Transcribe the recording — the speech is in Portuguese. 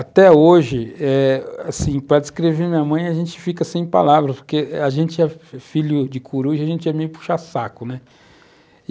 Até hoje, eh, para descrever minha mãe, a gente fica sem palavras, porque a gente é filho de coruja, a gente é meio puxa-saco, né?